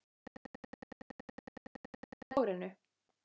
Það er dálítið skott neðan úr dökku hárinu.